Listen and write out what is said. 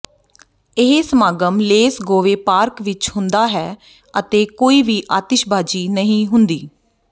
ਇਹ ਸਮਾਗਮ Les Gove park ਵਿਚ ਹੁੰਦਾ ਹੈ ਅਤੇ ਕੋਈ ਵੀ ਆਤਿਸ਼ਬਾਜ਼ੀ ਨਹੀਂ ਹੁੰਦੀ